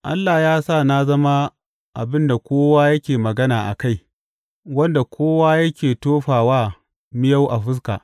Allah ya sa na zama abin da kowa yake magana a kai wanda kowa yake tofa wa miyau a fuska.